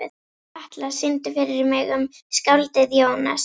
Atlas, syngdu fyrir mig „Um skáldið Jónas“.